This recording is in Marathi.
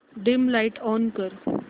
डिम लाइट ऑन कर